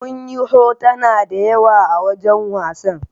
Munyi hotona da yawa a wajan wasan